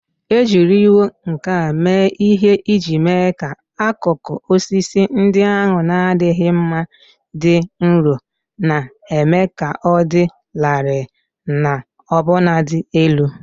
E jiriwo nkà mee ihe iji mee ka akụkụ osisi ndị ahụ na-adịghị mma dị nro, na-eme ka ọ dị larịị na ọbụnadị elu.